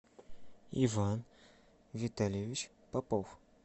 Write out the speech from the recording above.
иван витальевич попов